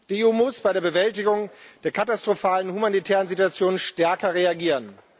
Die EU muss bei der Bewältigung der katastrophalen humanitären Situationen stärker reagieren.